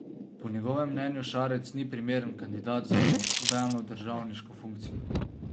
Po njegovem mnenju Šarec ni primeren kandidat za nobeno državniško funkcijo.